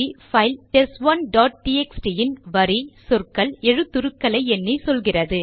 file test one dot TXT இன் வரி சொற்கள் எழுத்துருக்களை எண்ணி சொல்கிறது